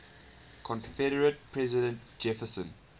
confederate president jefferson